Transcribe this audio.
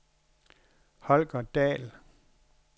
Holger Dahl